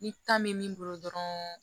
Ni ta bɛ min bolo dɔrɔn